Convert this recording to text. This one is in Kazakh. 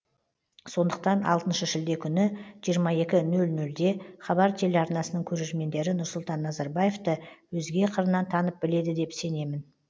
сондықтан алтыншы шілде күні жиырма екі нөл нөлде хабар телеарнасының көрермендері нұрсұлтан назарбаевты өзге қырынан танып біледі деп сенемін